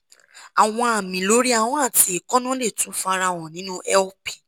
àwọn àmì lórí ahọ́n àti èékánná lè tún farahàn nínú lp